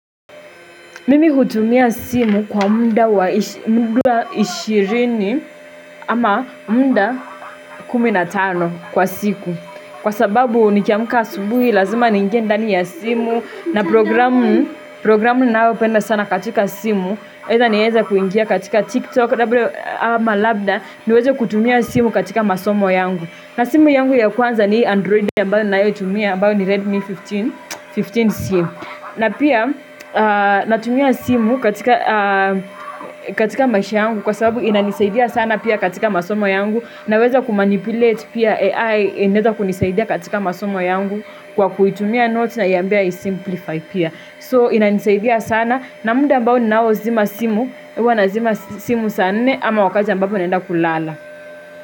Mimi hutumia simu kwa muda 20 ama muda 15 kwa siku. Kwa sababu nikiamuka asubuhi, lazima niingie ndani ya simu na programu, programu nayopenda sana katika simu. Either nieza kuingia katika TikTok ama Labda, niweze kutumia simu katika masomo yangu. Na simu yangu ya kwanza ni hii Android ambayo ninayotumia ambayo ni Redmi 15, 15C. Na pia natumia simu katika maisha yangu kwa sababu inanisaidia sana pia katika masomo yangu. Naweza kumanipulate pia AI inaeza kunisaidia katika masomo yangu kwa kuitumia notes naiambia isimplify pia. So inanisaidia sana na muda mbao ninao zima simu, huwa nazima simu saa nne ama wakati ambapo naenda kulala.